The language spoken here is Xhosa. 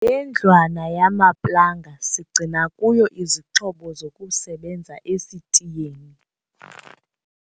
Le ndlwana yamaplanga sigcina kuyo izixhobo zokusebenza esitiyeni.